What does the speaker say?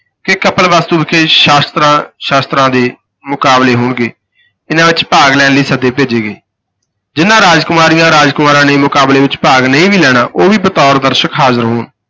ਕਿ ਕਪਿਲਵਸਤੂ ਵਿਖੇ ਸ਼ਸਤਰਾਂ ਸ਼ਾਸਤਰਾਂ ਦੇ ਮੁਕਾਬਲੇ ਹੋਣਗੇ, ਇਨ੍ਹਾਂ ਵਿਚ ਭਾਗ ਲੈਣ ਲਈ ਸੱਦੇ ਭੇਜੇ ਗਏ, ਜਿਨ੍ਹਾਂ ਰਾਜਕੁਮਾਰੀਆਂ, ਰਾਜ ਕੁਮਾਰਾਂ ਨੇ ਮੁਕਾਬਲੇ ਵਿਚ ਭਾਗ ਨਹੀਂ ਵੀ ਲੈਣਾ, ਉਹ ਵੀ ਬਤੌਰ ਦਰਸ਼ਕ ਹਾਜ਼ਰ ਹੋਣ।